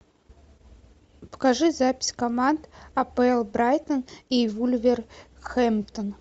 покажи запись команд апл брайтон и вулверхэмптон